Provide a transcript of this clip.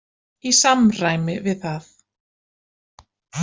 Í samræmi við það.